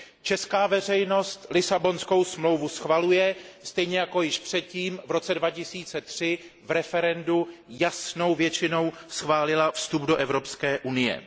Česká veřejnost Lisabonskou smlouvu schvaluje, stejně jako již předtím, v roce 2003, v referendu jasnou většinou schválila vstup do Evropské unie.